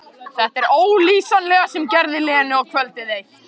Þetta ólýsanlega sem gerði Lenu og kvöldið eitt.